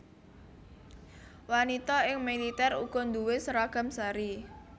Wanita ing militer uga duwé seragam sari